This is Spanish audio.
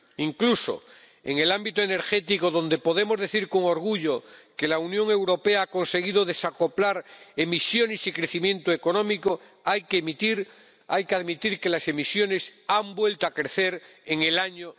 Incluso en el ámbito energético, donde podemos decir con orgullo que la Unión Europea ha conseguido desacoplar emisiones y crecimiento económico, hay que admitir que las emisiones han vuelto a crecer en el año